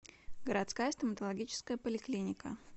городская стоматологическая поликлиника